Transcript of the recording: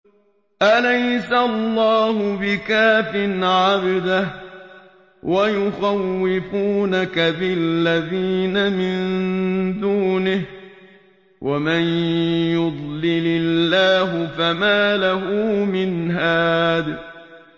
أَلَيْسَ اللَّهُ بِكَافٍ عَبْدَهُ ۖ وَيُخَوِّفُونَكَ بِالَّذِينَ مِن دُونِهِ ۚ وَمَن يُضْلِلِ اللَّهُ فَمَا لَهُ مِنْ هَادٍ